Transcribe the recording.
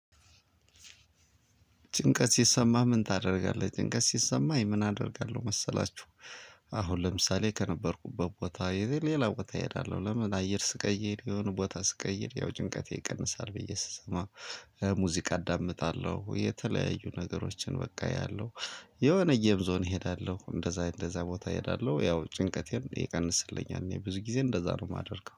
ጭንቀት ሲሰማህ ምን ታደርጋለህ? ጭንቀት ሲሰማኝ ምን አደርጋለሁ መሰላችሁ፣ አሁን ለምሳሌ ከነበርኩበት ቦታ ሌላ ቦታ እሄዳለሁ። ለምን አየር ስቀይር የሆነ ቦታ ስቀይር ያው ጭንቀቴ ይቀንሳል ብዬ ስሰማ ሙዚቃ አዳምጣለሁ የተለያዩ ነገሮችን በቃ አያለው። የሆነ ዞን እሄዳለሁ እንደዛ እንደዛ ቦታ እሄዳለው ያው ጭንቀቴም ይቀንስልኛል፤ እኔ ብዙ ጊዜ እንደዛ ነው የማደርገው።